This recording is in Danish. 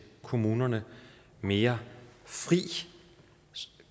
kommunerne mere fri